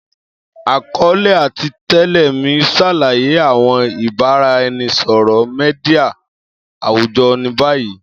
Akọọlẹ ati tẹle mi ṣalaye awọn ibaraẹnisọrọ media awujọ ni bayi.